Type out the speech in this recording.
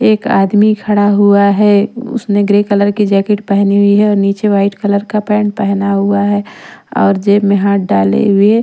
एक आदमी खड़ा हुआ है उसने ग्रे कलर की जैकेट पहनी हुई है और नीचे व्हाईट कलर का पेंट पहना हुआ है और जेब में हाथ डाले हुए।